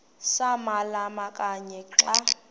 samalama kanye xa